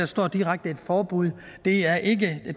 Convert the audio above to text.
står et direkte et forbud og det er ikke